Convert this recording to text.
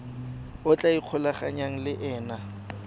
a tla ikgolaganyang le ena